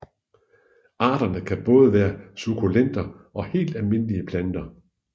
Arterne kan både være sukkulenter og helt almindelige planter